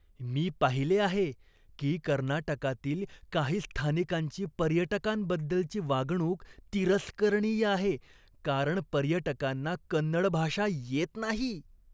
मी पाहिले आहे की कर्नाटकातील काही स्थानिकांची पर्यटकांबद्दलची वागणूक तिरस्करणीय आहे, कारण पर्यटकांना कन्नड भाषा येत नाही.